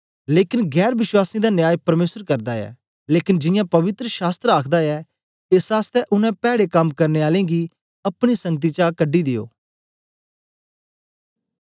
लेकन गैर वश्वासीयें दा न्याय परमेसर करदा ऐ लेकन जियां पवित्र शास्त्र आखदा ऐ एस आसतै उनै पैड़े कम करने आलें गी अपनी संगति चा कढी दियो